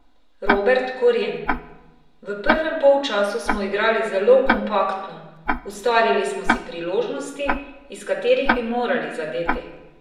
Robert Koren: "V prvem polčasu smo igrali zelo kompaktno, ustvarili smo si priložnosti, iz katerih bi morali zadeti.